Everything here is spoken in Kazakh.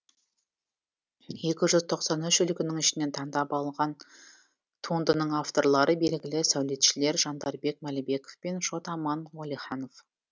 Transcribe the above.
екі жүз тоқсан үш үлгінің ішінен таңдап алынған туындының авторлары белгілі сәулетшілер жандарбек мәлібеков пен шот аман уәлиханов